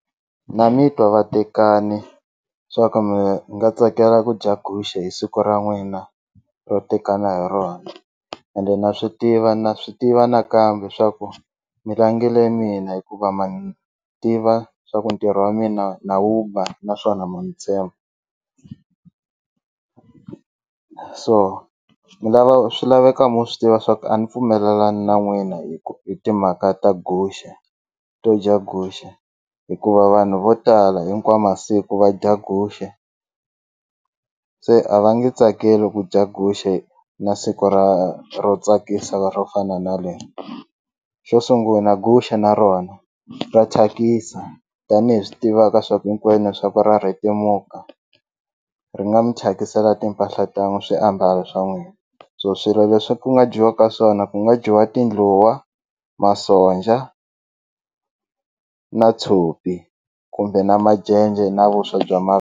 Na mitwa vatekani swa ku mi nga tsakela ku dya guxe hi siku ra n'wina ro tekana hi rona ende na swi tiva na swi tiva nakambe swaku mi langile mina hikuva ma ni tiva swa ku ntirho wa mina na wu ba naswona ma ni tshemba so ni lava swi laveka mu swi tiva swaku a ni pfumelelani na n'wina hi ku hi timhaka ta guxe to dya guxe hikuva vanhu vo tala hinkwawu masiku va dya guxe se a va nge tsakeli ku dya guxe na siku ra ro tsakisa ro fana na leri xo sunguna guxe na rona ra thyakisa tanihi swi tivaka swa ku hinkwenu swa ku ra rhetemuka ri nga mi thyakisela timpahla ta swiambalo swa n'wina so swilo leswi ku nga dyiwaka swona ku nga dyiwa tindluwa masonja na tshopi kumbe na majenje na vuswa bya .